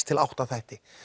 til átta þætti